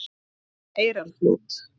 Eyrarflöt